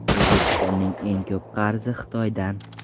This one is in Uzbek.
O‘zbekistonning eng ko‘p qarzi Xitoydan.